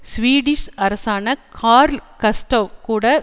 Swedish அரசரான Karl Gustav கூட